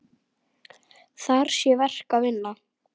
Þar sé verk að vinna.